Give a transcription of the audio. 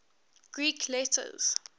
greek letters